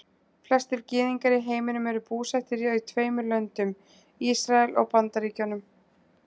Flestir gyðingar í heiminum eru búsettir í tveimur löndum, Ísrael og Bandaríkjunum.